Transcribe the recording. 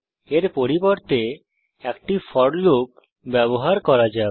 এর পরিবর্তে একটি ফোর লুপ ব্যবহার করা যাক